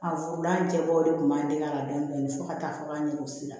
A furulancɛbɔ de tun b'an dege la bilen fo ka taa fɔ k'an yɛrɛ don si la